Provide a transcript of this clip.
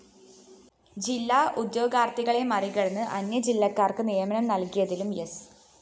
ജില്ലാ ഉദ്യോഗാര്‍ത്ഥികളെ മറികടന്ന് അന്യജില്ലക്കാര്‍ക്ക് നിയമനം നല്‍കിയതിലും സ്‌